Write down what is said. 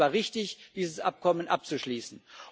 Und es war richtig, dieses Abkommen abzuschließen.